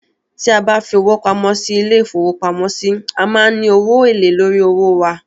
Tí a bá fi owó pamọ́ sí ilé-ìfowópamọ́sí, a máa n ní owó èlèé lórí owó wa